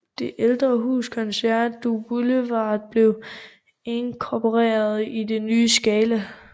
Det ældre hus Concert du Boulevard blev inkorporeret i det nye Scala